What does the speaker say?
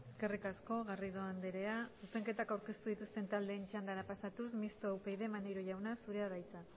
eskerrik asko garrido andrea zuzenketak aurkeztu dituzten taldeen txandara pasatuz mistoa upyd maneiro jauna zurea da hitza